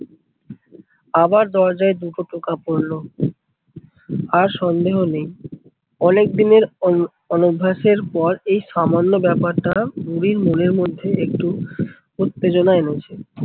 আবার দরজায় দুটো টোকা পরলো। আর সন্দেহ নেই অনেক দিনের অন অনভ্যাস এর পর এই সামান্য ব্যাপারটা বুড়ির মনের মধ্যে একটু উত্তেজনা এনেছে।